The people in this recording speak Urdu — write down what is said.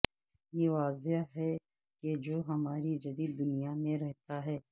یہ واضح ہے کہ جو ہماری جدید دنیا میں رہتا ہے